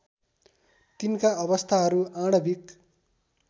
तिनका अवस्थाहरू आणविक